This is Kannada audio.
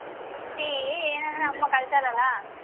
ಕೇಳ್ತಿ ಅಮ್ಮಾ ಕಲ್ಸಲ್ವಲ್ಲ.